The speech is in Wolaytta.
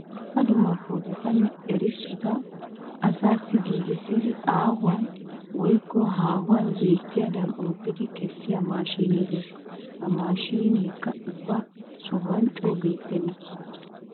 Dumma dumma poototanne erissota asaassi giigissidi aahuwan woykko haahuwan beettiyadan oottidi kessiya maashinee de'ees. Ha maashineekka ubba sohuwan coo beettenna.